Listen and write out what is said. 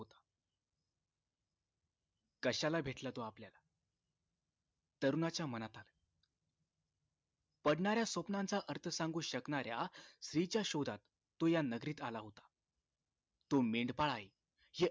कशाला भेटला तो आपल्याला तरुणाच्या मनात आल पडणार्‍या स्वप्नाचा अर्थ सांगू शकणार्‍या स्त्रीच्या शोधात तो या नगरीत आला होता तो मेंढपाळ आहे